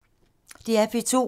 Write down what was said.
DR P2